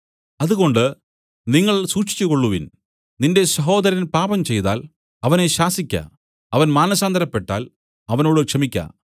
അതുകൊണ്ട് നിങ്ങൾ സൂക്ഷിച്ചുകൊള്ളുവിൻ നിന്റെ സഹോദരൻ പാപം ചെയ്താൽ അവനെ ശാസിക്ക അവൻ മാനസാന്തരപ്പെട്ടാൽ അവനോട് ക്ഷമിയ്ക്ക